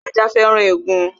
Ajá féràn egun